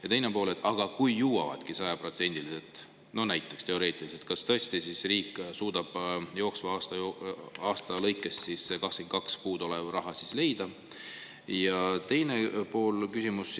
Ja teine pool: aga kui jõuavad sajaprotsendiliselt, no teoreetiliselt, kas tõesti riik suudab jooksva aasta lõikes puudu oleva raha, 22 leida?